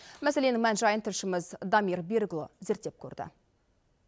мәселенің мән жайын тілшіміз дамир берікұлы зерттеп көрді